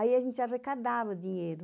Aí a gente arrecadava o dinheiro.